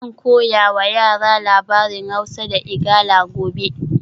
Zan koya wa yara labarin Hausa da Igala gobe